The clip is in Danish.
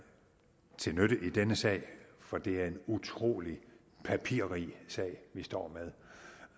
til nytte i denne sag for det er en utrolig papirrig sag vi står med